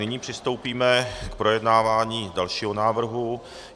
Nyní přistoupíme k projednávání dalšího návrhu.